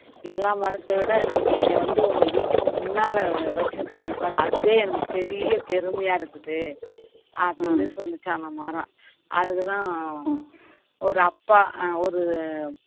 எல்லா மரத்தை விட நீங்க என்னைய வந்து உங்க வீட்டுக்கு முன்னால வச்சிருக்கிறீங்க பாரு அதுவே எனக்கு பெரிய பெருமையா இருக்குது அப்படின்னு சொல்லுச்சாம் அந்த மரம் அதுக்குதான் ஒரு அப்பா அஹ் ஒரு